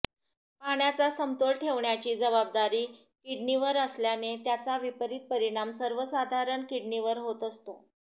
पाण्याचा समतोल ठेवण्याची जबाबदारी किडनीवर असल्याने त्याचा विपरित परिणाम सर्वसाधारण किडनीवर होत असतो